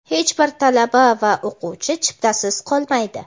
Hech bir talaba va o‘quvchi chiptasiz qolmaydi!.